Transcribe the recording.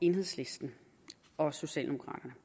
enhedslisten og socialdemokraterne